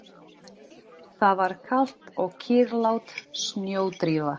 Það var kalt og kyrrlát snjódrífa.